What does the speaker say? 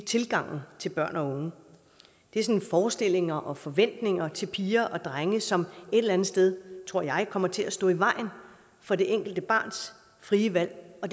tilgang til børn og unge det er forestillinger og forventninger til piger og drenge som et eller sted tror jeg kommer til at stå i vejen for det enkelte barns frie valg og